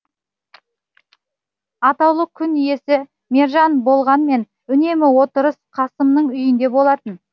атаулы күн иесі мержан болғанымен үнемі отырыс қасымның үйінде болатын